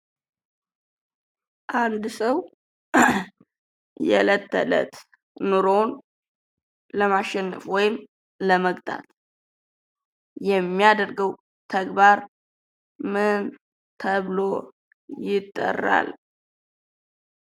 አንድ ሰው የለት ተዕለት ኑሮውን ለማሸነፍ ወይም ለመግታት የሚያደርገው ተግባር ምን ተብሎ ይጠራል?